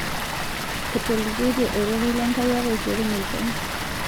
Etolikioitie orerei lenkai ata etii olmitai